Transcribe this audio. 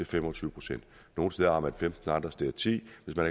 fem og tyve procent nogle steder